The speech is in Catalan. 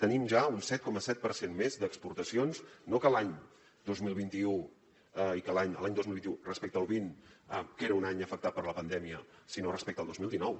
tenim ja un set coma set per cent més d’exportacions no que l’any dos mil vint u respecte al vint que era un any afectat per la pandèmia sinó respecte al dos mil dinou